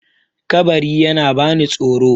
kabari yana bani tsoro